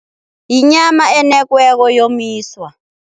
Yinyama enekiweko yomiswa.